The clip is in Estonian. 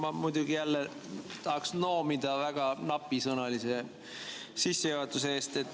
Ma muidugi tahaks jälle noomida väga napisõnalise sissejuhatuse eest.